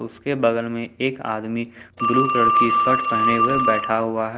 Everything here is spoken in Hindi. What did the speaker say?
उसके बगल में एक आदमी ब्लू कलर की शर्ट पहने हुए बैठा हुआ है।